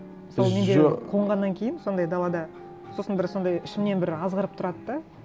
мысалы менде қонғаннан кейін сондай далада сосын бір сондай ішімнен бір азғырып тұрады да